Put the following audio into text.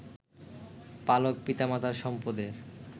পালক পিতামাতার সম্পদের